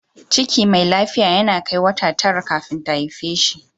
Ciki mai lafiya yana kai wata tara kafin ta haife shi.